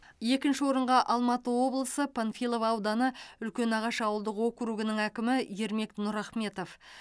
екінші орынға алматы облысы панфилов ауданы үлкенағаш ауылдық округінің әкімі ермек нұрахметов